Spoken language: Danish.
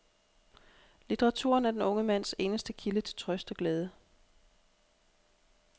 Litteraturen er den unge mands eneste kilde til trøst og glæde.